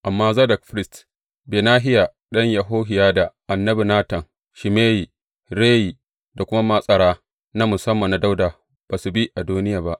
Amma Zadok firist, Benahiya ɗan Yehohiyada, annabi Natan, Shimeyi, Reyi da kuma matsara na musamman na Dawuda ba su bi Adoniya ba.